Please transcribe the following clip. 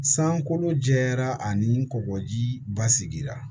Sankolo jɛya ani kɔkɔji ba sigira